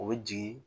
O bɛ jigin